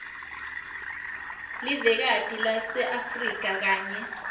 livekati laseafrika kanye